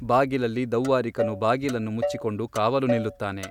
ಬಾಗಿಲಲ್ಲಿ ದೌವ್ವಾರಿಕನು ಬಾಗಿಲನ್ನು ಮುಚ್ಚಿಕೊಂಡು ಕಾವಲು ನಿಲ್ಲುತ್ತಾನೆ.